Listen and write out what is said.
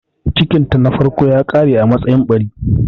Cikinta na farko ya ƙare a matsayin ɓari.